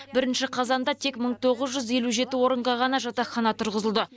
бірінші қазанда тек мың тоғыз жүз елу жеті орынға ғана жатақхана тұрғызылды